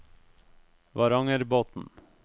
Varangerbotn